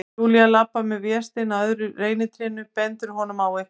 Júlía labbar með Véstein að öðru reynitrénu, bendir honum á eitthvað.